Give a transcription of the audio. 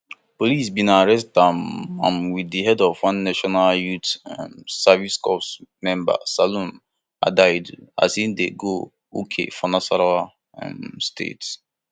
police bin arrest am am with di head of one national youth um service corps member salome adaidu as e dey go uke for nasarawa um state